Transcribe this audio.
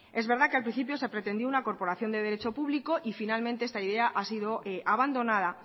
es verdad que al principio se pretendió una corporación de derecho público y finalmente esta idea ha sido abandonada